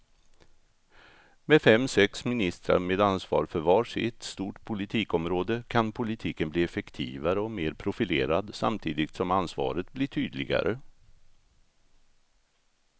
Med fem, sex ministrar med ansvar för var sitt stort politikområde kan politiken bli effektivare och mer profilerad samtidigt som ansvaret blir tydligare.